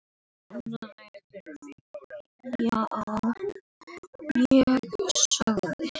Ég sagði